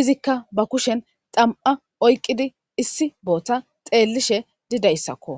izika ba kushshan tsama oykkida issi soho tseelishshe dida issako.